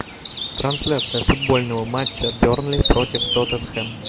трансляция футбольного матча бернли против тоттенхэм